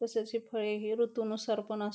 तसेच हे फळे हे ऋतू नुसार पन आस--